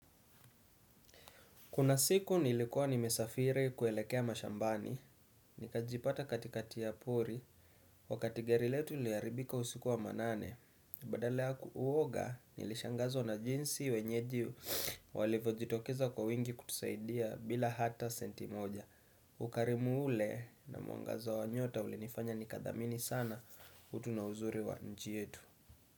Kuna siku nilikuwa nimesafiri kuelekea mashambani, nikajipata katikati ya pori, wakati gari letu liliharibika usiku wa manane. Badala ya uwoga nilishangazwa na jinsi wenyeji walivyo jitokeza kwa wingi kutusaidia bila hata senti moja. Ukarimu ule na muangazo wa nyota ulinifanya nikathamini sana utu na uzuri wa nchi yetu.